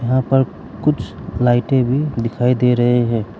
यहां पर कुछ लाइटें भी दिखाई दे रहे हैं।